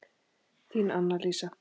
Þín, Anna Lísa.